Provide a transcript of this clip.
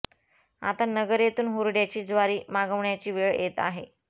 आता नगर येथून हुरड्याची ज्वारी मागवण्याची वेळ येत आहे